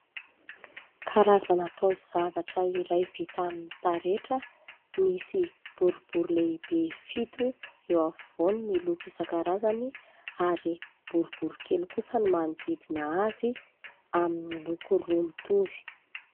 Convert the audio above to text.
Karazana taozavatra iray vita amin'ny taretra, misy boribory lehibe fito eo afovoany miloko isan-karazany ary boribory kely kosa ny manodidina azy amin'ny loko roa mitovy.